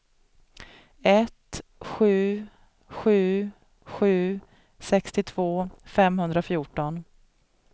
ett sju sju sju sextiotvå femhundrafjorton